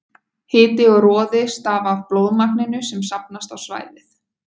hiti og roði stafa af blóðmagninu sem safnast á svæðið